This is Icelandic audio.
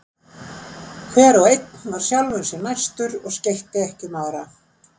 Hver og einn var sjálfum sér næstur og skeytti ekki um aðra.